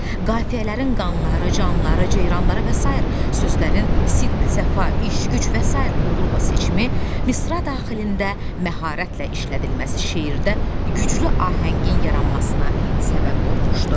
Qafiyələrin "qanları", "canları", "ceyranları" və sair sözlərin "sidq", "səfa", "iş", "güc" və sair uğurla seçimi, misra daxilində məharətlə işlədilməsi şeirdə güclü ahəngin yaranmasına səbəb olmuşdu.